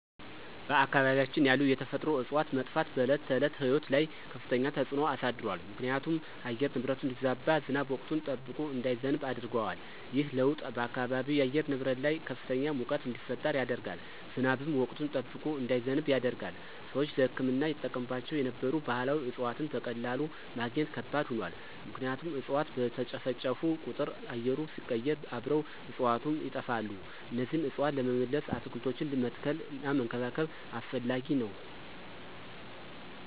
በአካባቢያችን ያሉ የተፈጥሮ እፅዋት መጥፋት በዕለት ተዕለት ሕይወት ላይ ከፍተኛ ተጽዕኖ አሳድሯል ምክንያቱም የአየር ንብረቱ እንዲዛባ፣ ዝናብ ወቅቱን ጠብቆ እንዳይዘንብ ያደርገዋል። ይህ ለውጥ በአካባቢው የአየር ንብረት ላይ ከፍተኛ ሙቀት እንዲፈጠር ያደርጋል፣ ዝናብም ወቅቱን ጠብቆ እንዳይዘንብ ያደርጋል። ሰዎች ለሕክምና ይጠቀሙባቸው የነበሩ ባህላዊ እፅዋትን በቀላሉ ማግኘት ከባድ ሆኗል ምክንያቱም እፅዋት በተጨፈጨፉ ቁጥር አየሩ ሲቀየር አብረው እፅዋቱም ይጠፋሉ እነዚህን እፅዋት ለመመለስ አትክልቶችን መትከልና መንከባከብ አስፈላጊ ነው።